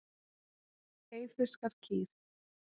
Eyfirskar kýr.